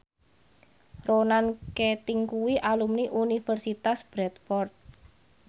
Ronan Keating kuwi alumni Universitas Bradford